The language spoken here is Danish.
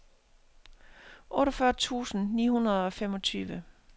otteogfyrre tusind ni hundrede og femogtyve